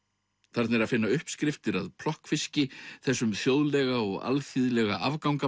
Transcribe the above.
þarna er að finna uppskriftir af plokkfiski þessum þjóðlega og alþýðlega